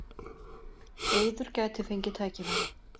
Eiður gæti fengið tækifæri